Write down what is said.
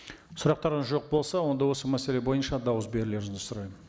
сұрақтарыңыз жоқ болса онда осы мәселе бойынша дауыс берулеріңізді сұраймын